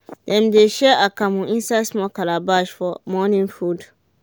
dem de share akamu inside small calabash for morning food